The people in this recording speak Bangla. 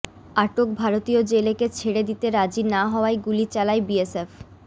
আটক ভারতীয় জেলেকে ছেড়ে দিতে রাজি না হওয়ায় গুলি চালায় বিএসএফ